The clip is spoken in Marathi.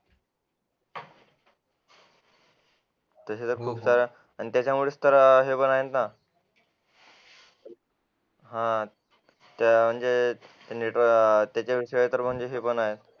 तशा तर आणि त्याच्यामुळे तर हे पण आहेत ना हा त्या म्हणजे त्याच्याविषयी पण शिकवणार आहे